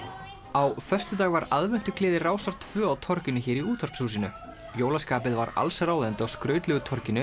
á föstudag var Rásar tvö á torginu hér í Útvarpshúsinu jólaskapið var allsráðandi á skrautlegu torginu